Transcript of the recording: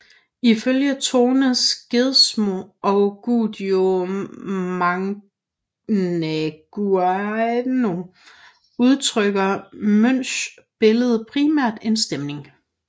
Ifølge Tone Skedsmo og Guido Magnaguagno udtrykker Munchs billede primært en stemning